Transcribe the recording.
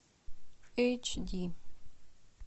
эйч ди